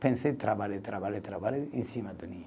Pensei, trabalhei, trabalhei, trabalhei em cima da linha.